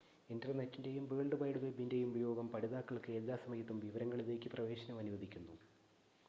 ഇൻ്റർനെറ്റിൻ്റെയും world wide വെബിൻ്റെയും ഉപയോഗം പഠിതാക്കൾക്ക് എല്ലാ സമയത്തും വിവരങ്ങളിലേക്ക് പ്രവേശനം അനുവദിക്കുന്നു